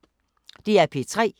DR P3